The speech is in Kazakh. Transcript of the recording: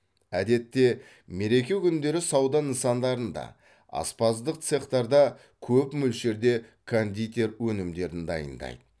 әдетте мереке күндері сауда нысандарында аспаздық цехтарда көп мөлшерде кондитер өнімдерін дайындайды